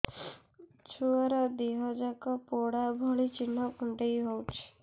ଛୁଆର ଦିହ ଯାକ ପୋଡା ଭଳି ଚି଼ହ୍ନ କୁଣ୍ଡେଇ ହଉଛି